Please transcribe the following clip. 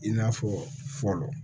I n'a fɔ fɔlɔ